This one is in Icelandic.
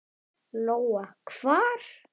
Lóa: Hvar?